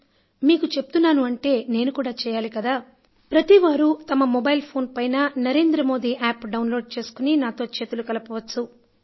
కానీ మీకు చెప్తున్నా అంటే నేను కూడా చేయాలి కదా ప్రతివారు తమ మొబైల్ ఫోను పైన Narendra Modi app download చేసుకొని నాతో చేతులు కలపవచ్చును